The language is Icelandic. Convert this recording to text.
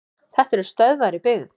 Þetta eru stöðvar í byggð.